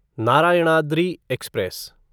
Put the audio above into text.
Narayanadri express